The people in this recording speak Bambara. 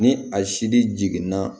Ni a sili jiginna